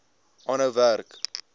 aanhou werk